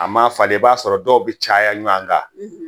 A ma falen i b'a sɔrɔ dɔw bɛ caya ɲɔgɔn kan